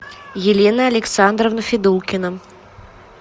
елена александровна федулкина